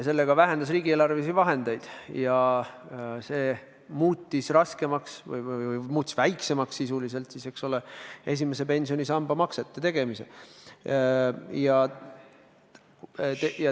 Sellega vähenesid riigieelarvelised vahendid ja see muutis esimese pensionisamba maksed väiksemaks.